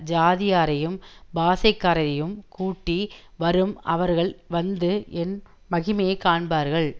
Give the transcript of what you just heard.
ஜாதியாரையும் பாஷைக்காரரையும் கூட்டி வரும் அவர்கள் வந்து என் மகிமையைக் காண்பார்கள்